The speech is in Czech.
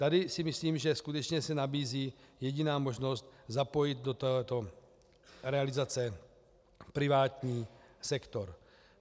Tady si myslím, že skutečně se nabízí jediná možnost - zapojit do této realizace privátní sektor.